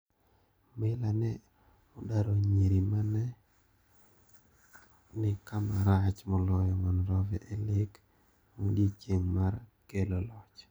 Meyler ne odaro nyiri mane mane nikamarach moloyo Monrovia elek maodichieng mar kelo loch.